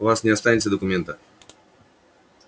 у вас не останется документа